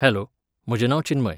Hello, म्हजें नांव चिन्मय.